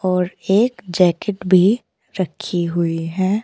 और एक जैकेट भी रखी हुई है।